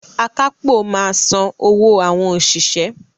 Akápò máa san owó àwọn òṣìṣẹ́.